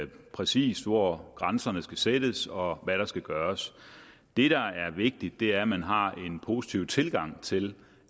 præcis hvor grænserne skal sættes og hvad der skal gøres det der er vigtigt er at man har en positiv tilgang til